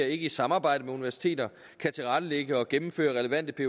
ikke i samarbejde med universiteter kan tilrettelægge og gennemføre relevante